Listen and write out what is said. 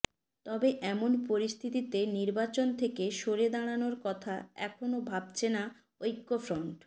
তবে এমন পরিস্থিতিতে নির্বাচন থেকে সরে দাড়ানোর কথা এখনো ভাবছে না ঐক্যফ্রন্ট